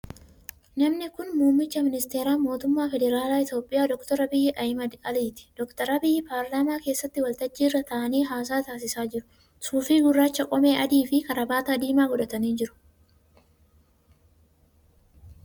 Namni kun muummicha ministeeraa mootummaa federaalaa Itiyoophiyaa Dr. Abiyyi Ahmad Aliiti. Dr. Abiyyi paarlaamaa keessatti waltajjii irra taa'anii haasaa taasisaa jiru. Suufii gurraacha, qomee adii fi kaarabaata diimaa godhatanii jiru.